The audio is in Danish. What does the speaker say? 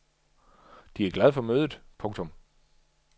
De er glad for mødet. punktum